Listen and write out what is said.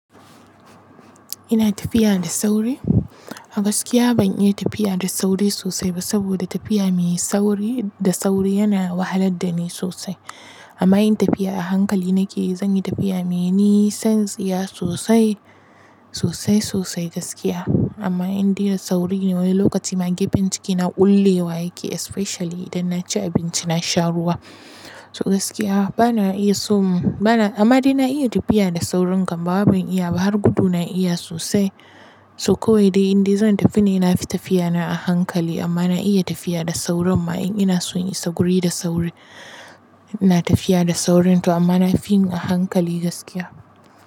Ina tafiya da sauri? Gaskiya ban iya tafiya da sauri sosai ba saboda tafiya me sauri da sauri yana wahalar da ni sosai. Amma yin tafiya a hankali na ke zan yi tafiya me yi nisan tsiya sosai, sosai sosai gaskiya. Amma in dai sauri ne wani lokacin ma gefen ciki na ƙullewa yake especially idan na ci abinci na sha ruwa. So gaskiya bana iya so bana amma dai na iya tafiya da saurin kam bawai ban iya ba har gudu na iya sosai. So kawai dai in dai zan tafi ne ina fi tafiya na a hankali amma na iya tafiya da sauron ma in ina so in isa guri da sauri. Na tafiya da saurin to amma na fi yi a hankali gaskiya.